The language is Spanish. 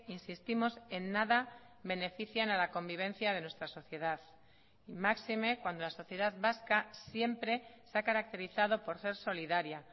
insistimos en nada benefician a la convivencia de nuestra sociedad máxime cuando la sociedad vasca siempre se ha caracterizado por ser solidaria